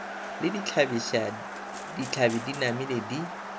le ditlhabi di namile di